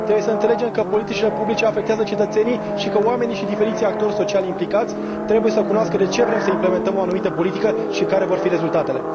Trebuie să înțelegem că politicile publice afectează cetățenii și că oamenii și diferiții actori sociali implicați trebuie să cunoască de ce vrem să implementăm o anumită politică și care vor fi rezultatele.